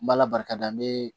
N b'ala barikada n bee